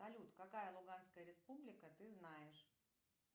салют какая луганская республика ты знаешь